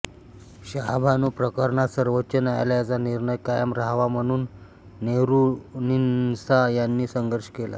शहाबानो प्रकरणात सर्वोच्च न्यायालयाचा निर्णय कायम रहावा म्हणून मेहरुन्निसा यांनी संघर्ष केला